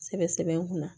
Sɛbɛ sɛbɛ kun na